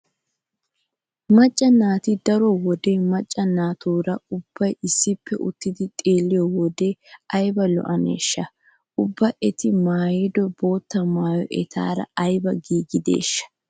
Macca naati daro wode macca naatuura ubbay issippe uttidi xeelliya asaa ayba lo'iyonaashsha? Ubba eti maayido bootta maayoy etaara ayba giigideeshsha?